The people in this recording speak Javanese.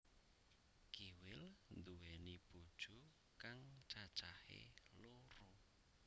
Kiwil nduwéni bojo kang cacahé loro